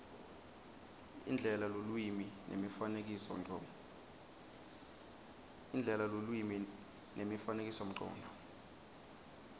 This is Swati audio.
indlela lulwimi nemifanekisomcondvo